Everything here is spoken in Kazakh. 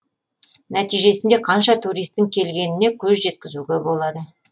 нәтижесінде қанша туристің келгеніне көз жеткізуге болады